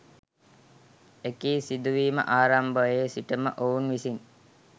එකී සිදුවීම ආරම්භයේ සිටම ඔවුන් විසින්